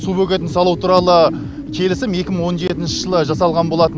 су бөгетін салу туралы келісім екі мың он жетінші жылы жасалған болатын